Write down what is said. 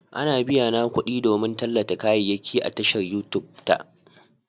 Ana biyana kuɗi don tallata kayayyaki a tashar Youtube ta